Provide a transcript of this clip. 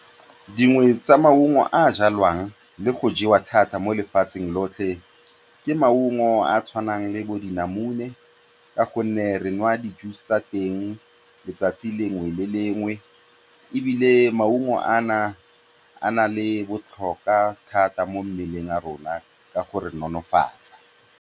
Dingwe tsa maungo a a jwalwang le go jewa thata mo lefatsheng lotlhe ke maungo a a tshwanang le bodinamune ka gonne re nwa di-juice tsa teng letsatsi lengwe le lengwe, ebile maungo ana a na le botlhokwa thata mo mmeleng wa rona ka go re nonofatsa.